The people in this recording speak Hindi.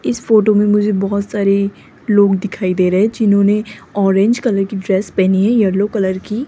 इस फोटो में मुझे बहोत सारे लोग दिखाई दे रहे हैं जिन्होंने ऑरेंज कलर की ड्रेस पहनी है येलो कलर की --